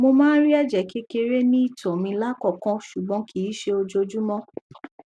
mo máa ń rí ẹjẹ kékeré ní ìtoẹ mi lákòókò ṣùgbọn kìí ṣe ojoojúmọ